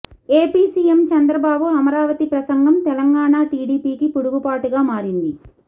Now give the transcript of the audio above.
AP CM Chandrababu Amaravati ప్రసంగం తెలంగాణ టీడీపీకి పిడుగుపాటుగా మారింది